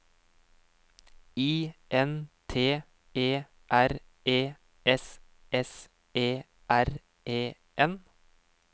I N T E R E S S E R E R